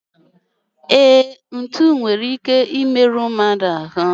E, ntụ nwere ike I meru mmadụ ahu